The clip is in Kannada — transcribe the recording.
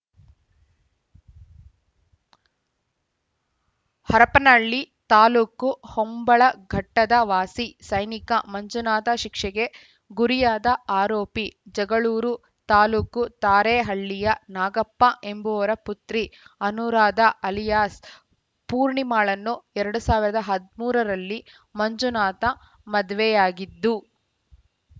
ಹರಪನಹಳ್ಳಿ ತಾಲೂಕು ಹೊಂಬಳಘಟ್ಟದ ವಾಸಿ ಸೈನಿಕ ಮಂಜುನಾಥ ಶಿಕ್ಷೆಗೆ ಗುರಿಯಾದ ಆರೋಪಿ ಜಗಳೂರು ತಾಲೂಕು ತಾರೇಹಳ್ಳಿಯ ನಾಗಪ್ಪ ಎಂಬುವರ ಪುತ್ರಿ ಅನುರಾಧ ಅಲಿಯಾಸ್‌ ಪೂರ್ಣಿಮಾಳನ್ನು ಎರಡು ಸಾವಿರದ ಹದ್ ಮೂರರಲ್ಲಿ ಮಂಜುನಾಥ ಮದುವೆಯಾಗಿದ್ದು